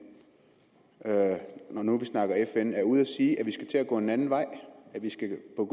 når nu vi snakker fn er ude at sige at vi skal til at gå en anden vej